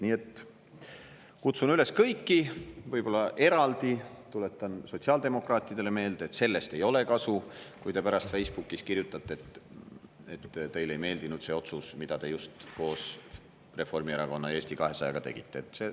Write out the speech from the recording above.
Nii et kutsun üles kõiki, aga võib-olla eraldi tuletan sotsiaaldemokraatidele meelde, et sellest ei ole kasu, kui te pärast Facebookis kirjutate, et teile ei meeldinud see otsus, mille te just koos Reformierakonna ja Eesti 200-ga tegite.